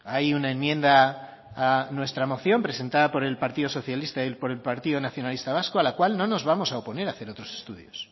hay una enmienda a nuestra moción presentada por el partido socialista y por el partido nacionalista vasco a la cual no nos vamos a oponer a hacer otros estudios